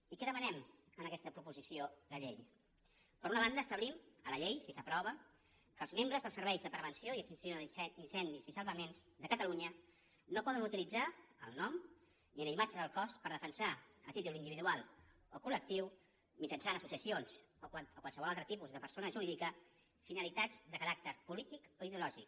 i què demanem en aquesta proposició de llei per una banda establim a la llei si s’aprova que els membres dels serveis de prevenció i extinció d’incendis i salvaments de catalunya no poden utilitzar el nom ni la imatge del cos per defensar a títol individual o col·lectiu mitjançant associacions o qualsevol altre tipus de persona jurídica finalitats de caràcter polític o ideològic